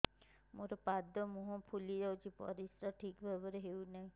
ମୋର ପାଦ ମୁହଁ ଫୁଲି ଯାଉଛି ପରିସ୍ରା ଠିକ୍ ଭାବରେ ହେଉନାହିଁ